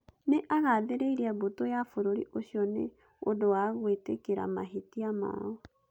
Nĩ aagathĩrĩirie mbũtũ ya bũrũri ũcio nĩ ũndũ wa "gwĩtĩkĩra mahĩtia mao".